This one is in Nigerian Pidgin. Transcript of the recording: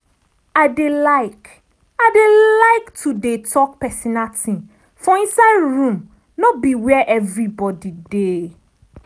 i dey like i dey like to dey talk personal thing for inside room no be where everybody dey.